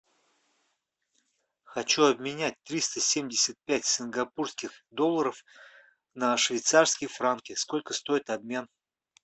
хочу обменять триста семьдесят пять сингапурских долларов на швейцарские франки сколько стоит обмен